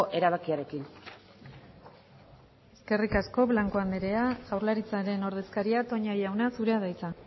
erabakiarekin eskerrik asko blanco andrea jaurlaritzaren ordezkaria toña jauna zurea da hitza